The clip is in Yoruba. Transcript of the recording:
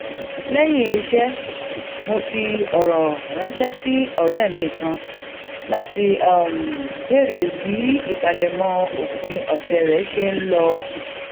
léyìn iṣé mo fi òrò ránṣé sí òré mi kan láti béèrè bí ìpalẹmọ òpin òsè rẹ ṣe n lọ